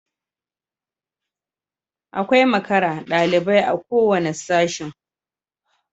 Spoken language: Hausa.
Akwai makara dalibai a kowanne Sashin